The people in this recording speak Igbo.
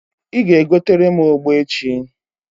Ị ga-egotere m ogbo echi